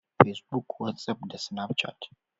Pacebook, WhatsApp da Snapchat.